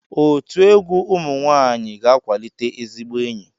Otu egwu ụmụ nwaanyịga-akwalite ezigbo enyi.